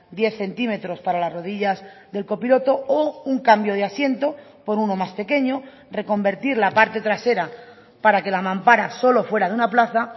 diez centímetros para las rodillas del copiloto o un cambio de asiento por uno más pequeño reconvertir la parte trasera para que la mampara solo fuera de una plaza